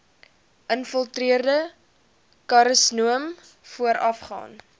infiltrerende karsinoom voorafgaan